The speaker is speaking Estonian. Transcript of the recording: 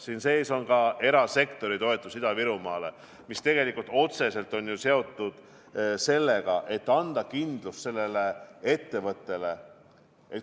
Siin sees on ka erasektori toetus Ida-Virumaale, mis tegelikult otseselt on seotud sellega, et anda kindlus ettevõttele.